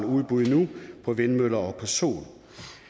udbud på vindmøller og sol